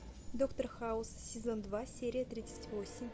доктор хаус сезон два серия тридцать восемь